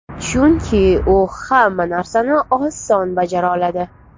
Chunki u hamma narsani oson bajara oladi.